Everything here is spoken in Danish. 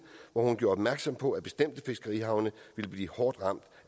otte gjorde opmærksom på at bestemte fiskerihavne ville blive hårdt ramt